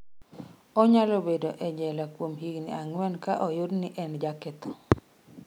Onyalo bedo e jela kuom higni ang'wen ka oyud ni en jaketho.